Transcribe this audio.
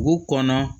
Dugu kɔnɔ